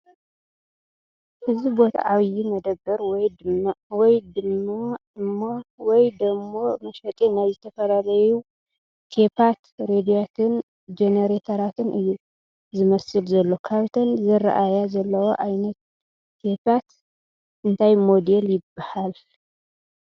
እዚ ቦታ ዓብይ መደብር ወይ ድም መሸጢ ናይ ዝተፈላለዩ ቴፓት፣ ሬድዮያትን ጀነሬተራትን እዩ ዝመስል ዘሎ ካብተን ዝረኣያ ዘለዋ ዓይነት ቴፓት እንታይ ሞዴል ይበሃለ ?